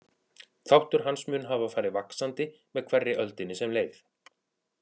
Þáttur hans mun hafa farið vaxandi með hverri öldinni sem leið.